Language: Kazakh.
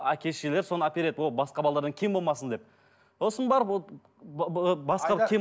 әке шешелері соны әпереді ол басқа кем болмасын деп сосын барып ол басқа кем